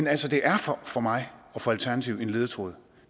altså det er for mig og for alternativet en ledetråd